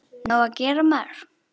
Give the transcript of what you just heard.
Nóg að gera, maður.